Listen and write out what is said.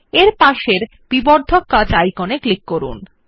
এর পার্শ্ববর্তী বিবর্ধক কাচ আইকন এ ক্লিক করুন